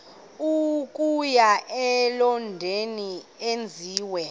okuya elondon enziwe